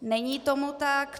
Není tomu tak.